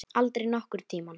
Aldrei nokkurn tímann.